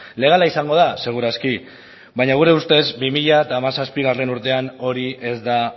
legala izango da seguru aski baina gure ustez bi mila hamazazpigarrena urtean hori ez da